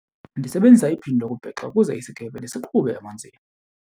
Ndisebenzisa iphini lokubhexa ukuze isikhephe ndisiqhube emanzini.